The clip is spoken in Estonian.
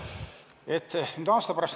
Kolm minutit lisaaega.